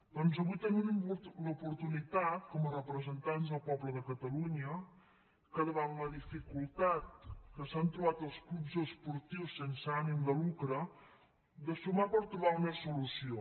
doncs avui tenim l’oportunitat com a representants del poble de catalunya davant la dificultat que s’han trobat els clubs esportius sense ànim de lucre de sumar per trobar una solució